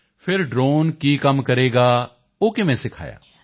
ਫਿਰ ਡ੍ਰੋਨ ਕੀ ਕੰਮ ਕਰੇਗਾ ਉਹ ਕਿਵੇਂ ਸਿਖਾਇਆ